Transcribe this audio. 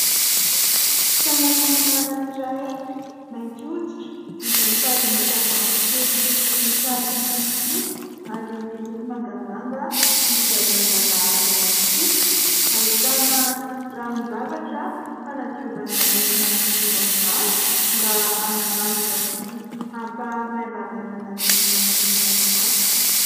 Tananan'olona anankiray mainty hoditra izay mitazona tavoahangy kely misy sarony fotsifotsy ary miloko mangamanga izay mangarahara ihany koa. Ahitana ranon-javatra fanadiovana ny manodidina ny maso mba hanamandina sy hampamaivamaivana ny manodidina ny maso.